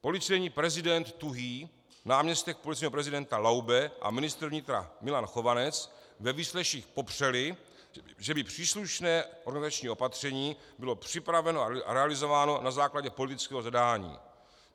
Policejní prezident Tuhý, náměstek policejního prezidenta Laube a ministr vnitra Milan Chovanec ve výsleších popřeli, že by příslušné organizační opatření bylo připraveno a realizováno na základě politického zadání.